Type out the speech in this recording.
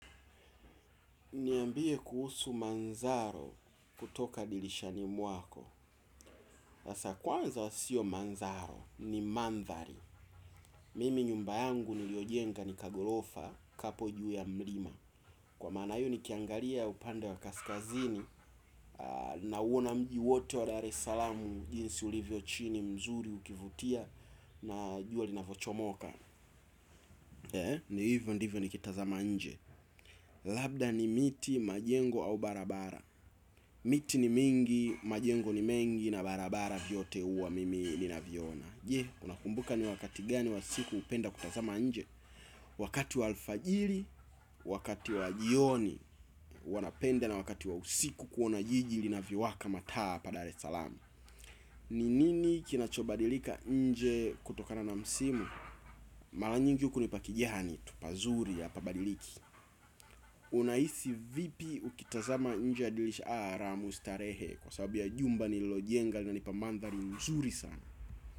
Niambie kuhusu manzaro kutoka dilishani mwako. Sasa kwanza sio manzaro, ni mandhari. Mimi nyumba yangu niliojenga ni kagholofa kapo juu ya mlima. Kwa maana hiyo nikiangalia upande wa kaskazini nauona mji wote wa daresaalamu jinsi ulivyo chini mzuri ukivutia na jua linavyochomoka. Ni hivyo ndivyo nikitazama nje. Labda ni miti majengo au barabara. Miti ni mingi, majengo ni mengi na barabara vyote huwa mimi ninaviona je, unakumbuka ni wakati gani wa siku hupenda kutazama nje wakati wa alfajiri, wakati wa jioni huwa napenda na wakati wa usiku kuona jiji linavyowaka mataa hapa daresaalam ni nini kinachobadilika nje kutokana na msimu mala nyingi huku ni pakijani tu pazuri hapabadiliki unahisi vipi ukitazama nje ya dilisha raha mustarehe. Kwa sababu ya jumba nililojenga linanipa mandhari mzuri sana.